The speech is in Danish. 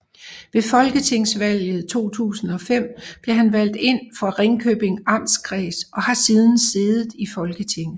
Ved Folketingsvalget 2005 blev han valgt ind for Ringkøbing Amtskreds og har siden siddet i Folketinget